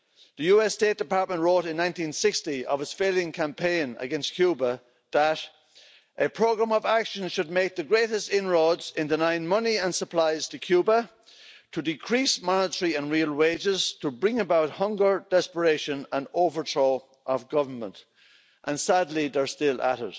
The US State Department wrote in 1960 of its failing campaign against Cuba that a programme of action should make the greatest inroads in denying money and supplies to Cuba, to decrease monetary and real wages, to bring about hunger, desperation and overthrow of government', and, sadly, they're still at